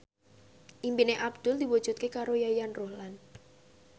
impine Abdul diwujudke karo Yayan Ruhlan